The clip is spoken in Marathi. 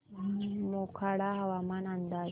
मोखाडा हवामान अंदाज